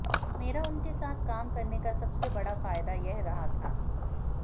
मेरा उनके साथ काम करने का सबसे बडा फायदा यह रहा था